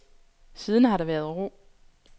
Siden har der været ro.